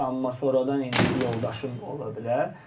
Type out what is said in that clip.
Amma sonradan indi yoldaşım ola bilər.